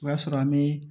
O y'a sɔrɔ an bɛ